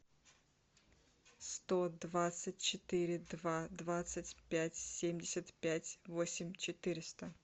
сто двадцать четыре два двадцать пять семьдесят пять восемь четыреста